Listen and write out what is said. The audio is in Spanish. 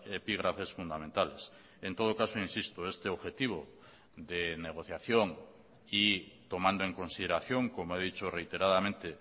epígrafes fundamentales en todo caso insisto este objetivo de negociación y tomando en consideración como he dicho reiteradamente